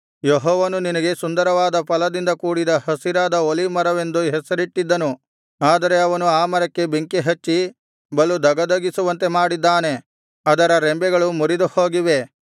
ಯೆಹೋವನು ನಿನಗೆ ಸುಂದರವಾದ ಫಲದಿಂದ ಕೂಡಿದ ಹಸಿರಾದ ಒಲೀವ್ ಮರವೆಂದು ಹೆಸರಿಟ್ಟಿದ್ದನು ಆದರೆ ಅವನು ಆ ಮರಕ್ಕೆ ಬೆಂಕಿ ಹಚ್ಚಿ ಬಲು ಧಗಧಗಿಸುವಂತೆ ಮಾಡಿದ್ದಾನೆ ಅದರ ರೆಂಬೆಗಳು ಮುರಿದುಹೋಗಿವೆ